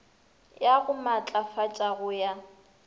ya go maatlafatša go ya